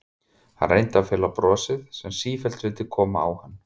Hann reyndi að fela brosið sem sífellt vildi koma á hann.